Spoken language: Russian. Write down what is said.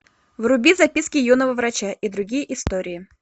вруби записки юного врача и другие истории